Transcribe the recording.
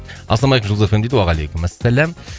ассалаумағалейкум жұлдыз эф эм дейді уағалейкумассалям